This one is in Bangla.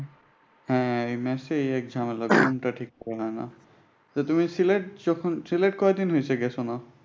হ্যাঁ এই মেচে এই এক জামেলা। ঘুমটা ঠিক মত হয়না। তো তুমি সিলেট যখন সিলেট কয়দিন হইছে গেছো যে?